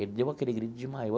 Ele deu aquele grito e desmaiou.